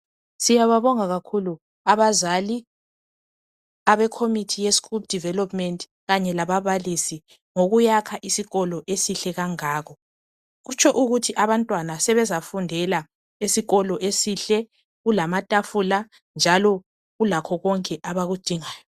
Siyababonga kakhulu abazali abekhomithi ye school development kanye lababalisi ngokuyakha isikolo esihle kangaka. Kutsho ukuthi abantwana sebezafundela esikolo esihle kulamatafula njalo kulakho konke abakudingayo.